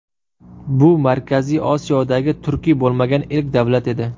Bu Markaziy Osiyodagi turkiy bo‘lmagan ilk davlat edi.